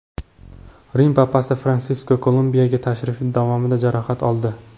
Rim papasi Fransisk Kolumbiyaga tashrifi davomida jarohat oldi.